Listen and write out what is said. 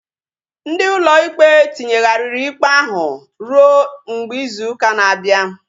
Ndị ụlọ ikpe tinyeghariri ikpe ahu ruo mgbe izu ụka na-abịa